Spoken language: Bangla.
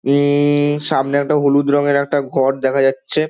উম-ম-ম সামনে একটা হলুদ রঙের একটা ঘর দেখা যাচ্ছে।